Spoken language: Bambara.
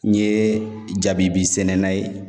N ye jabibi sɛnɛna ye